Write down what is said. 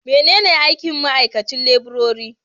Menene aikin ma'aikacin laburare?